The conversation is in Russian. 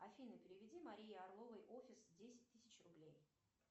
афина переведи марии орловой офис десять тысяч рублей